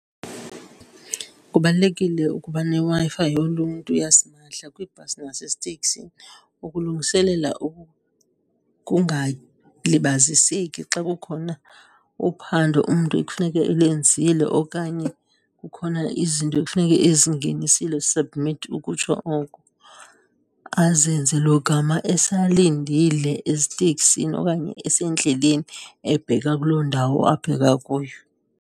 Kubalulekile ukuba neWi-Fi yoluntu yasimahla kwibhasi naseziteksini, ukulungiselela xa kukhona uphando umntu ekufuneka elenzile okanye kukhona izinto ekufuneka ezingenisile, submit ukutsho oko, azenze logama esalindile eziteksini okanye esendleleni ebheka kuloo ndawo abheka kuyo.